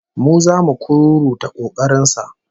Mu zamu kururuta kokarin sa